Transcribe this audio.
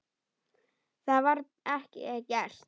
Það var bara ekki gert.